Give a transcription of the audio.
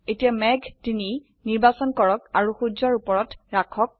এতিয়া মেঘ ৩ নিৰ্বাচন কৰক আৰু সূৰ্যৰ উপৰত ৰাখক